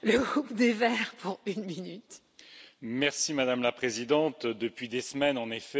Madame la Présidente, depuis des semaines, en effet, on assiste toutes les semaines à des violences.